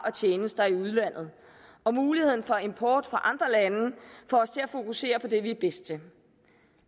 og tjenester i udlandet og muligheden for import fra andre lande får os til at fokusere på det vi er bedst til